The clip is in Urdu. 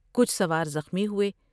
کچھ سوار زخمی ہوۓ ۔